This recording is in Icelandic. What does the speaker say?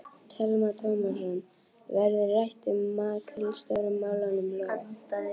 Telma Tómasson: Verður rætt um makríl Stóru málunum, Lóa?